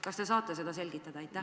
Kas te saate seda selgitada?